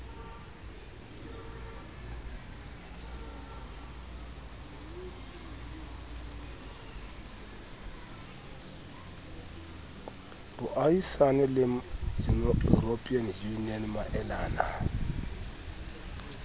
boahisani le european union maelana